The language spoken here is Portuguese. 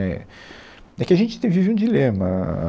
É, é que a gente tem, vive um dilema, a a